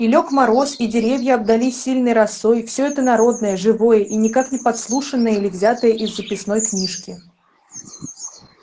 и лёг мороз и деревья обдались сильной росой всё это народное живое и никак не подслушанное или взятое из записной книжки